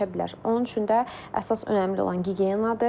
Onun üçün də əsas önəmli olan gigiyenadır.